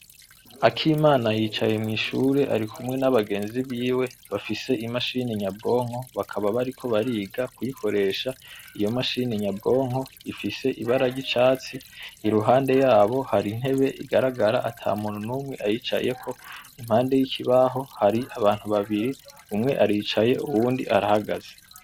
Akimana yicaye mw'ishure arikumwe n'abagenzi biwe bafise imashini nyabwonko bakaba bariko bariga kuyikoresha, iyo mashini nyabwonko ifise ibara ry'icatsi, iruhande yabo hari intebe igaragara ata muntu numwe ayicayeko, impande y'ikibaho hari abantu babiri, umwe aricaye, uwundi arahagaze.